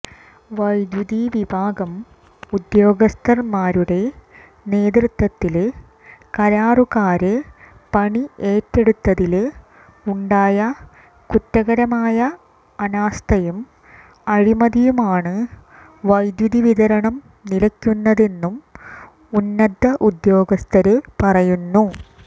വൈദ്യുതി വിഭാഗം ഉദ്യോഗസ്ഥന്മാരുടെ നേതൃത്വത്തില് കരാറുകാര് പണി ഏറ്റെടുത്തതില് ഉണ്ടായ കുറ്റകരമായ അനാസ്ഥയും അഴിമതിയുമാണ് വൈദ്യുതിവിതരണം നിലയ്ക്കുന്നതെന്നും ഉന്നതഉദ്യോഗസ്ഥര് പറയുന്നു